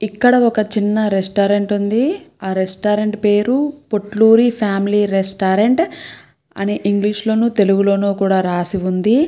ఇక్కడ ఒక చిన్న రెస్టారెంట్ ఉంది ఆ రెస్టారెంట్ పేరు పొట్లూరి ఫ్యామిలీ రెస్టారెంట్ అని ఇంగ్లీషు లోనూ తెలుగులోనూ కూడా రాసి ఉంది.